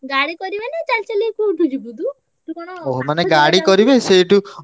ଗାଡି କରିବେ ନା ଚାଲି ଚାଲି କୋଉଠି ଯିବୁ ତୁ ।